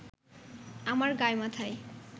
আমার গায় মাথায়